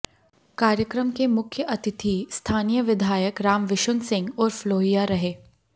कार्यक्रम के मुख्य अतिथि स्थानीय विधायक रामविशुन सिंह उर्फ लोहिया रहे